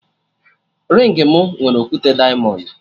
Ringị mụ nwere okwute diamọndụ